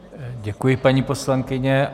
Děkuji, paní poslankyně.